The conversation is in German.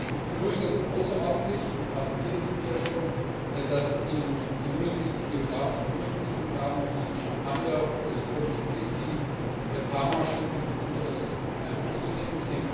Ich begrüße es außerordentlich und gratuliere Ihnen hier schon dass es Ihnen gelungen ist, die geografischen Ursprungsangaben wie Champagner, schottischer Whiskey, Parmaschinken und anderes aufzunehmen.